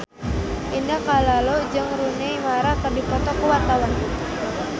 Indah Kalalo jeung Rooney Mara keur dipoto ku wartawan